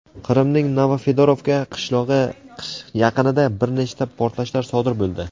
Qrimning Novofedorovka qishlog‘i yaqinida bir nechta portlashlar sodir bo‘ldi.